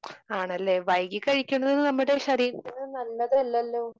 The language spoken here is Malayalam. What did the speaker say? ആണല്ലെ? വൈകി കഴിക്കുന്നത് നമ്മുടെ ശരീരത്തിന് നല്ലതല്ലല്ലോ?